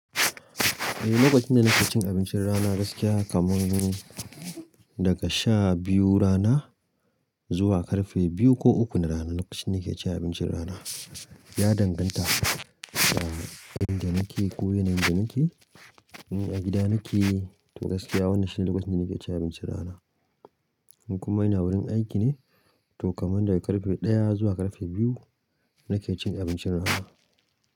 E lokacin da ni cin abincin rana gaskiya kamin dare daga sha biyu rana zuwa ƙarfe biyu ko uku na rana lokacin da na ke cin abincin rana. Ya danganta da inda na ke ko yanayin da ni ke. Ko a gida nike to gaskiya wannan shine lokacin da nike cin abincin rana in kuma ina wurin aiki ne, to kamar daga ƙarfe ɗaya zuwa ƙarfe biyu na ke cin abincin rana.